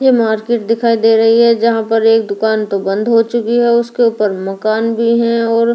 ये मार्केट दिखाई दे रही है जहां पर एक दुकान तो बंद हो चुकी हैउसके ऊपर मकान भी है और--